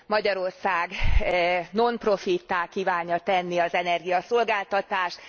Magyarország non profittá kívánja tenni az energiaszolgáltatást.